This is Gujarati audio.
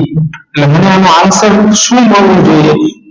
ઍટલે મને આનો answer શું મળવો જોઈએ